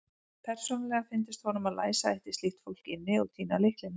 Persónulega fyndist honum að læsa ætti slíkt fólk inni og týna lyklinum.